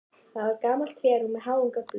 Það var gamalt trérúm með háum göflum.